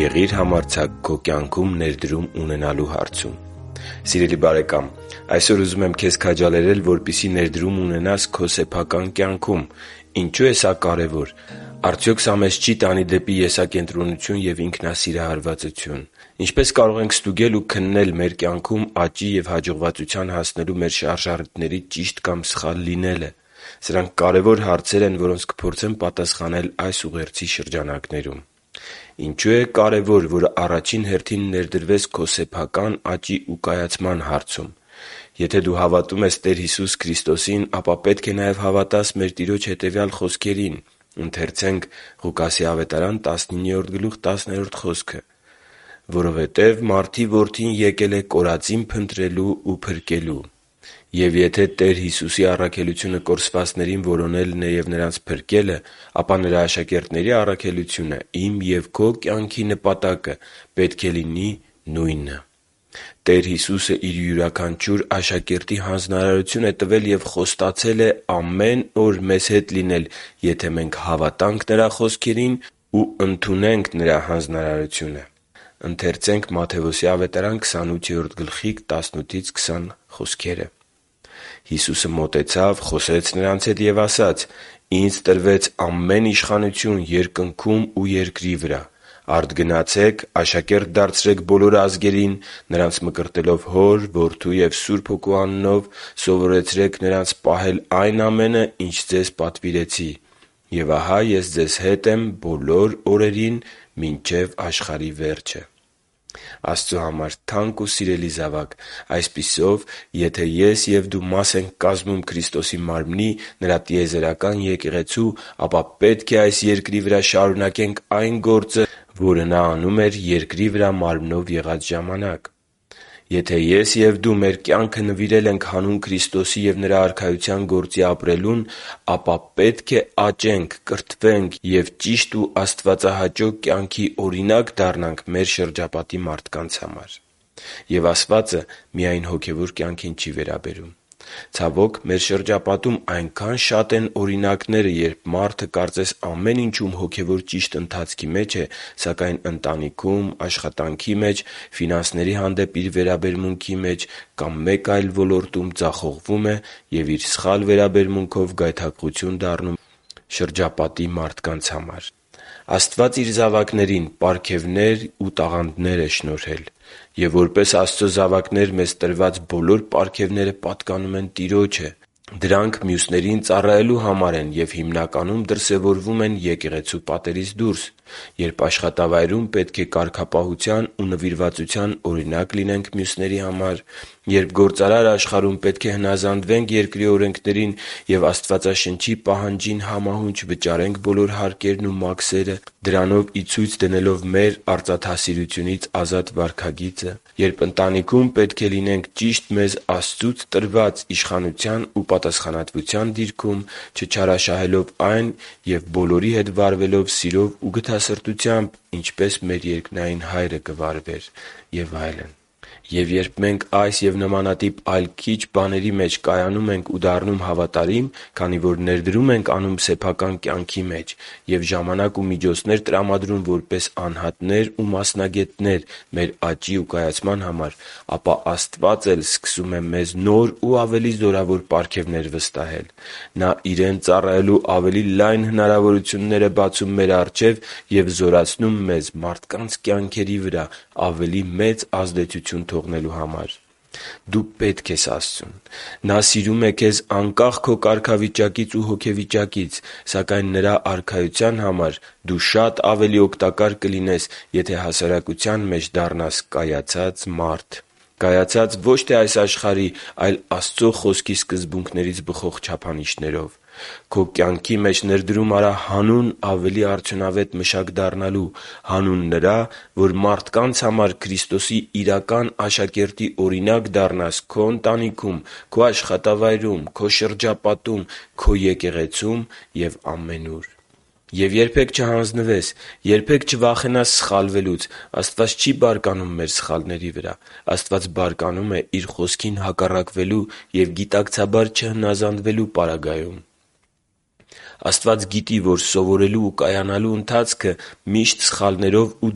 Եղի՛ր համարձակ քո կյանքում ներդրում ունենալու հարցում։ Սիրելի՛ բարեկամ, այսօր ուզում եմ քեզ քաջալերել, որպեսզի ներդրում ունենաս քո սեփական կյանքում։ Ինչո՞ւ է սա կարևոր։ Արդյոք սա մեզ չի՞ տանի դեպի եսակենտրոնություն և ինքնասիրահարվածություն։ Ինչպե՞ս կարող ենք ստուգել ու քննել մեր կյանքում աճի և հաջողվածության հասնելու մեր շարժառիթների ճիշտ կամ սխալ լինելը։ Սրանք կարևոր հարցեր են, որոնց կփորձեմ պատասխանել այս ուղերձի շրջանակներում։ Ինչո՞ւ է կարևոր, որ առաջին հերթին ներդրվես քո սեփական աճի ու կայացման հարցում։ Եթե դու հավատում ես Տեր Հիսուս Քրիստոսին, ապա պետք է նաև հավատաս մեր Տիրոջ հետևյալ խոսքերին․ «․․․որովհետև Մարդու Որդին եկել է կորածին փնտրելու ու փրկելու» (Ղուկաս 19․10)։ Եվ եթե Տեր Հիսուսի առաքելությունը կորսվածներին որոնելն է և նրանց փրկելը, ապա Նրա աշակերտների առաքելությունը՝ իմ և քո կյանքի նպատակը, պետք է լինի նույնը։ Տեր Հիսուսը Իր յուրաքանչյուր աշակերտի հանձնարարություն է տվել և խոստացել է ամեն օր մեզ հետ լինել, եթե մենք հավատանք Նրա խոսքերին ու ընդունենք Նրա հանձնարարությունը։ «Հիսուսը մոտեցավ, խոսեց նրանց հետ ու ասաց. «Ինձ տրվեց ամեն իշխանություն երկնքում ու երկրի վրա։ Արդ գնացե՛ք, աշակե՛րտ դարձրեք բոլոր ազգերին՝ նրանց մկրտելով Հոր, Որդու և Սուրբ Հոգու անունով, սովորեցրե՛ք նրանց պահել այն ամենը, ինչ ձեզ պատվիրեցի։ Եվ ահա Ես ձեզ հետ եմ բոլոր օրերին մինչև աշխարհի վերջը» (Մատթեոս 28.18-20): Աստծո համար թանկ ու սիրելի՛ զավակ, այսպիսով, եթե ես և դու մաս ենք կազմում Քրիստոսի Մարմնի՝ Նրա տիեզերական Եկեղեցու, ապա պետք է այս երկրի վրա շարունակենք այն գործը, որը Նա անում էր երկրի վրա մարմնով եղած ժամանակ։ Եթե ես և դու մեր կյանքը նվիրել է ենք հանուն Քրիստոսի և Նրա Արքայության գործի ապրելուն, ապա պետք է աճենք, կրթվենք և ճիշտ ու աստվածահաճո կյանքի օրինակ դառնանք մեր շրջապատի մարդկանց համար։ Եվ ասվածը միայն հոգևոր կյանքին չի վերաբերում։ Ցավոք, մեր շրջապատում այնքա՜ն շատ են օրինակները, երբ մարդը կարծես ամեն ինչում հոգևոր ճիշտ ընթացքի մեջ է, սակայն ընտանիքում, աշխատանքի մեջ, ֆինանսների հանդեպ իր վերաբերմունքի մեջ կամ մեկ այլ ոլորտում ձախողվում է և իր սխալ վերաբերմունքով գայթակղություն լինում շրջապատի մարդկանց համար։ Աստված Իր զավակներին պարգևներ ու տաղանդներ է շնորհել։ Եվ որպես Աստծո զավակներ մեզ տրված բոլոր պարգևները պատկանում են Տիրոջը։ Դրանք մյուսներին ծառայելու համար են և, հիմնականում, դրսևորվում են եկեղեցու պատերից դուրս, երբ աշխատավայրում պետք է կարգապահության ու նվիրվածության օրինակ լինենք մյուսների համար․․․ Երբ գործարար աշխարհում պետք է հնազանդվենք երկրի օրենքներին և Աստվածաշնչի պահանջին համահունչ վճարենք բոլոր հարկերն ու մաքսերը՝ դրանով ի ցույց դնելով մեր արծաթասիրությունից ազատ վարքագիծը․․․ Երբ ընտանիքում պետք է լինենք ճիշտ մեզ Աստծուց տրված իշխանության ու պատասխանատվության դիրքում, չչարաշահելով այն և բոլորի հետ վարվելով սիրով ու գթասրտությամբ, ինչպես մեր երկնային Հայրը կվարվեր․․․ Եվ երբ մենք այս և նմանատիպ այլ քիչ բաների մեջ կայանում ենք ու դառնում հավատարիմ, քանի որ ներդրում ենք անում մեր կյանքի մեջ և ժամանակ ու միջոցներ տրամադրում որպես անհատներ ու մասնագետներ մեր աճի ու կայացման համար, ապա Աստված էլ սկսում է մեզ նոր ու ավելի զորավոր պարգևներ վստահել։ Նա Իրեն ծառայելու ավելի լայն հնարավորություններ է բացում մեր առջև և զորացնում մեզ մարդկանց կյանքերի վրա ավելի մեծ ազդեցություն թողնելու համար։ Դու պե՛տք ես Աստծուն։ Նա սիրում է քեզ անկախ քո կարգավիճակից ու հոգեվիճակից։ Սակայն Նրա Արքայության համար դու շատ ավելի օգտակար կլինես, եթե հասարակության մեջ դառնաս կայացած մարդ։ Կայացած՝ ոչ թե այս աշխարհի, այլ Աստծո Խոսքի սկզբունքներից բխող չափանիշներով։ Քո կյանքի մեջ ներդրում արա՛ հանուն ավելի արդյունավետ մշակ դառնալու․․․, հանուն նրա, որ մարդկանց համար Քրիստոսի իրական աշակերտի օրինակ դառնաս քո ընտանիքում, քո աշխատավայրում, քո շրջապատում, քո եկեղեցում և ամենուր։ Եվ երբե՛ք չհանձնվես։ Երբե՛ք չվախենաս սխալվելուց։ Աստված չի՛ բարկանում մեր սխալների վրա։ Աստված բարկանում է Իր Խոսքին հակառակվելու և գիտակցաբար չհնազանդվելու պարագայում։ Աստված գիտի, որ սովորելու ու կայանալու ընթացքը միշտ սխալներով ու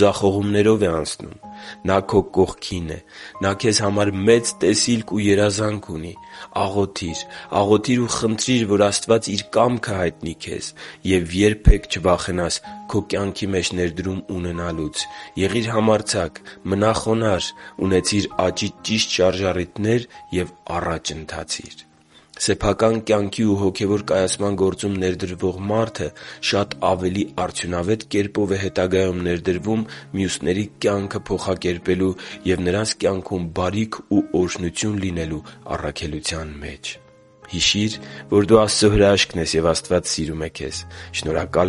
ձախողումներով է անցնում։ Նա քո կողքին է։ Նա քեզ համար մեծ տեսիլք ու երազանք ունի։ Աղոթի՛ր։ Աղոթի՛ր ու խնդրի՛ր, որ Աստված Իր կամքը հայտնի քեզ։ Եվ երբե՛ք չվախենաս քո կյանքի մեջ ներդրում ունենալուց։ Եղի՛ր համարձակ։ Մնա՛ խոնարհ։ Ունեցի՛ր աճի ճիշտ շարժառիթներ և առաջ ընթացի՛ր։ Սեփական կյանքի ու հոգևոր կայացման գործում ներդրվող մարդը շատ ավելի արդյունավետ կերպով է հետագայում ներդրվում մյուսների կյանքը փոխակերպելու և նրանց կյանքում բարիք ու օրհնություն լինելու առաքելության մեջ։ Հիշի՛ր, որ դու Աստծո հրաշքն ես, և Աստված սիրում է քեզ։ Շնորհակալ